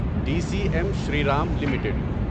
D C M Shriram limited